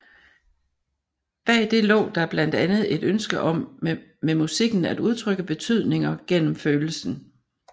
Bag det lå der blandt andet et ønske om med musikken at udtrykke betydninger gennem følelsen